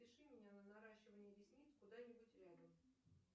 запиши меня на наращивание ресниц куда нибудь рядом